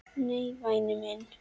Nei, væni minn.